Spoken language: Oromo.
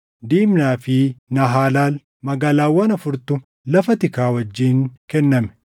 Dimnaa fi Naahaalal, magaalaawwan afurtu lafa tikaa wajjin kenname;